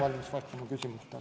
Ma olen valmis vastama küsimustele.